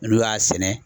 N'u y'a sɛnɛ